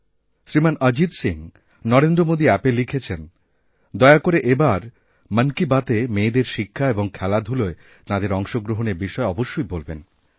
শ্রীমান অজিত সিং নরেন্দ্র মোদী অ্যাপএ লিখেছেন দয়া করে এবার মন কি বাতএমেয়েদের শিক্ষা এবং খেলাধূলায় তাঁদের অংশগ্রহণের বিষয়ে অবশ্যই বলবেন